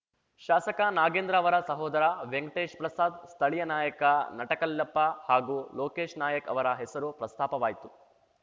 ಶಾಸಕ ನಾಗೇಂದ್ರ ಅವರ ಸಹೋದರ ವೆಂಕಟೇಶ್‌ ಪ್ರಸಾದ್‌ ಸ್ಥಳೀಯ ನಾಯಕ ನಟಕಲ್ಲಪ್ಪ ಹಾಗೂ ಲೋಕೇಶ್‌ ನಾಯಕ್‌ ಅವರ ಹೆಸರು ಪ್ರಸ್ತಾಪವಾಯಿತು